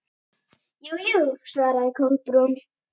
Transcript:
Jú, jú- svaraði Kolbrún.